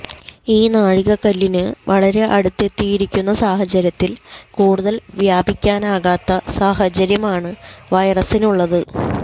ഈ നാഴികക്കല്ലിന് വളരെ അടുത്തെത്തിയിരിക്കുന്ന സാഹചര്യത്തിൽ കൂടുതൽ വ്യാപിക്കാനാകാത്ത സാഹചര്യമാണ് വൈറസിനുള്ളത്